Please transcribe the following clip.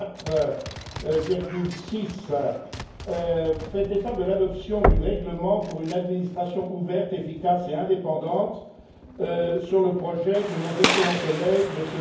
4.6, fait état de l'adoption du règlement pour une administration ouverte, efficace et indépendante sur le projet de nos excellents collègues, M.